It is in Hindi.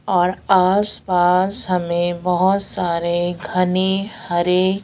और आस पास हमे बहोत सारे घने हरे--